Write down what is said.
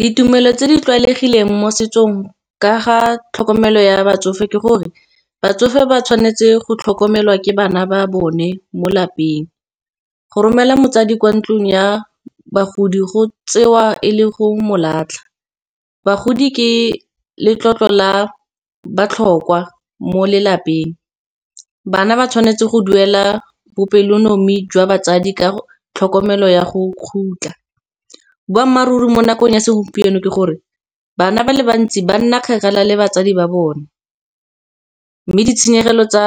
Ditumelo tse di tlwaelegileng mo setsong ka ga tlhokomelo ya batsofe ke gore, batsofe ba tshwanetse go tlhokomelwa ke bana ba bone mo lapeng. Go romela motsadi kwa ntlong ya bagodi go tsewa e le go molatlha, bagodi ke letlotlo la botlhokwa mo lelapeng. Bana ba tshwanetse go duela bopelonomi jwa batsadi ka tlhokomelo ya go kgutla. Boammaaruri mo nakong ya segompieno ke gore, bana ba le bantsi ba nna kgakala le batsadi ba bone. Mme ditshenyegelo tsa